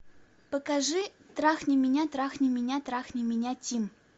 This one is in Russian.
покажи трахни меня трахни меня трахни меня тим